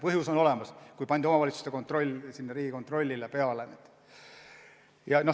Põhjus oli olemas, kui pandi omavalitsuste kontrolli kohustus Riigikontrollile peale.